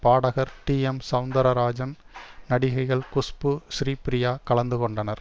பாடகர் டிஎம் சௌந்தர்ராஜன் நடிகைகள் குஷ்பு ஸ்ரீப்ரியா கலந்து கொண்டனர்